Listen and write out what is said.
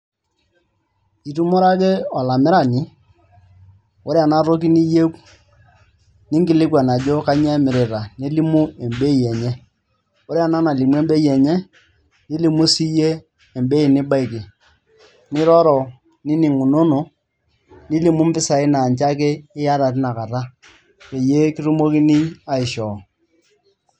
Itumore ake olamirani ore ena toki niyieu ninkilikuan ajo kanyioo emirita nelimu embei enye ore ena nalimu embei enye nolimu siyie embei nibaiki niroro nining'unono nilimu mpisaai naa ninche ake iata tina kata peyie kitumokini aishoo.